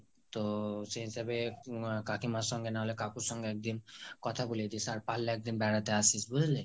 তো সেই হিসাবে কাকিমার সাথে নাহলে কাকুর সাথে কথা বলিয়ে দিস একদিন আর পারলে একদিন বেড়াতে আসিস, বুজলি?